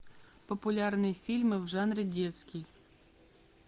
популярные фильмы в жанре детский